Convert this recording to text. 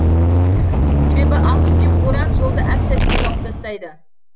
себебі ақ түтек боран жолды әп сәтте жауып тастайды